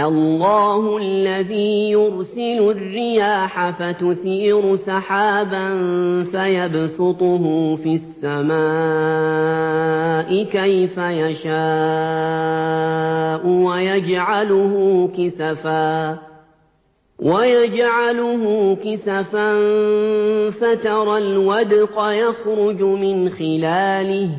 اللَّهُ الَّذِي يُرْسِلُ الرِّيَاحَ فَتُثِيرُ سَحَابًا فَيَبْسُطُهُ فِي السَّمَاءِ كَيْفَ يَشَاءُ وَيَجْعَلُهُ كِسَفًا فَتَرَى الْوَدْقَ يَخْرُجُ مِنْ خِلَالِهِ ۖ